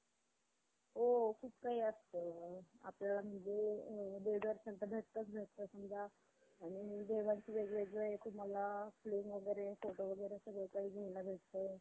अह finance मधून अं घेतलं तर चांगलं आहे. म्हणजे bank तून loan घेण्यापेक्षा मला असं वाटतं की finance company कडून आपण एखादं हे केलं तर आपण त्याचा फायदा आपल्याला जास्त होतो. आणखी आपण